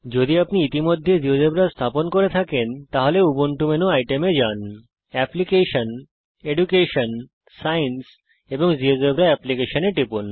যদি আপনি ইতিমধ্যে জীয়োজেব্রা স্থাপন করে থাকেন তাহলে উবুন্টু মেনু আইটেম এ যান অ্যাপ্লিকেশন শিক্ষা এডুকেশন বা বিজ্ঞান সাইন্স এবং জীয়োজেব্রা আবেদন অ্যাপ্লিকেশন এ টিপুন